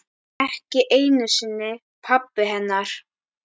Ekki einu sinni pabbi hennar.